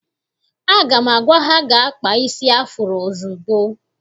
Aga m agwa ha gaa kpaa isi afuro ozugbo!